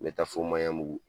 N be taa fo Maɲanbugu.